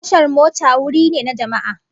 Tashar mota wuri ne na jama'a